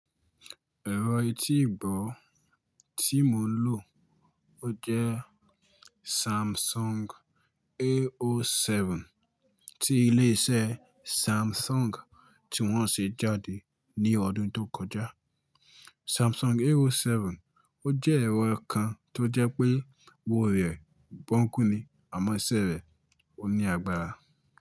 Ẹ̀rọ etíìgbọ́ tí mò ń lò, ó jẹ́ Samsung A07 tí ilé iṣẹ́ Samsung tí wọ́n ṣe jáde ní ọdún tó kọjá. Samsung A07 ó jẹ́ ẹ̀rọ kan tó jẹ́ pé owó rẹ̀ gbóńkú ni àmọ́ iṣẹ́ rẹ̀ ó ní agbára.